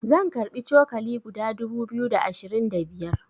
zan karbi cokali guda dubu biyu da ashirin da biyar